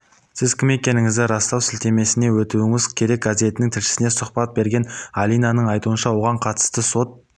сіз кім екендігіңізді растау сілтемесіне өтуіңіз керек газетінің тілшісіне сұхбат берген алинаның айтуынша оған қатысты сот